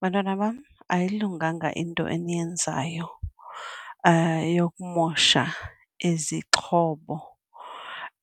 Bantwana bam, ayilunganga into eniyenzayo yokumosha izixhobo